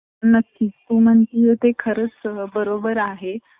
field मधले education field मधली माहिती